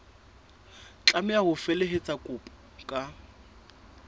tlameha ho felehetsa kopo ka